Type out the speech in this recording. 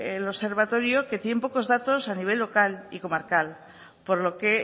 el observatorio que tiene pocos datos a nivel local y comarcal por lo que